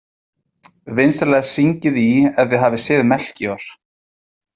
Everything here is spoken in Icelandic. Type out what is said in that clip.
Vinsamlegast hringið í ef þið hafið séð Melkíor.